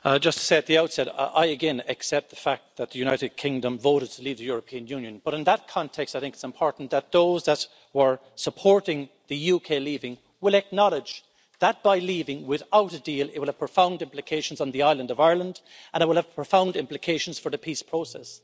Madam President, just to say at the outset, I again accept the fact that the United Kingdom voted to leave the European Union. But in that context, I think it's important that those that were supporting the UK leaving will acknowledge that by leaving without a deal, it will have profound implications on the island of Ireland and it will have profound implications for the peace process.